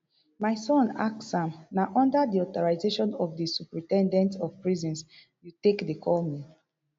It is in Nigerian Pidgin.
my son ask am na under di authorization of di superin ten dent of prisons you take dey call me